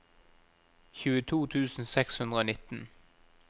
tjueto tusen seks hundre og nitten